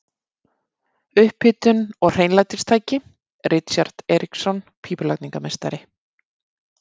Upphitun og hreinlætistæki: Richard Eiríksson, pípulagningameistari.